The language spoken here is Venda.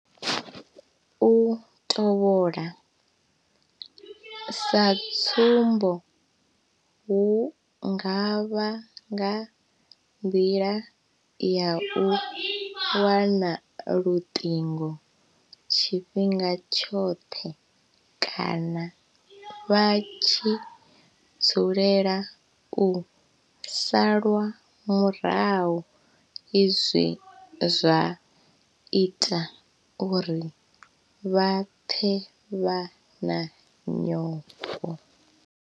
U tovhola, sa tsumbo hu nga vha nga nḓila ya u wana luṱingo tshifhinga tshoṱhe kana vha tshi dzulela u salwa murahu izwi zwa ita uri vha pfe vha na nyofho.